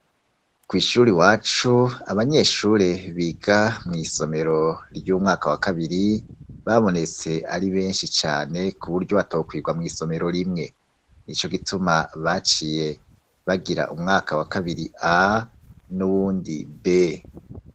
Kw' ishuri iwacu abanyeshure biga mw' isomero ry'umwaka wa kabiri, babonetse ari benshi cane kuburyo batokwigwa mw' isomero rimwe. Nico gituma baciye bagira umwaka wa kabiri A n'ubundi B.